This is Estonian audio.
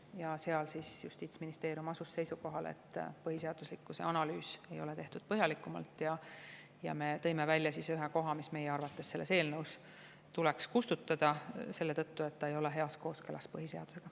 Ja seal Justiitsministeerium asus seisukohale, et põhiseaduslikkuse analüüs ei ole tehtud põhjalikult, ja me tõime välja ühe koha, mis meie arvates selles eelnõus tuleks kustutada selle tõttu, et see ei ole heas kooskõlas põhiseadusega.